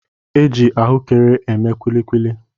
E ji ahụekere eme kulikuli